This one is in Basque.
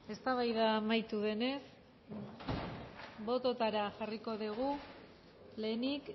eztabaida amaitu denez bototara jarriko dugu lehenik